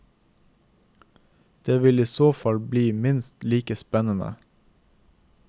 Det vil i så fall bli minst like spennende.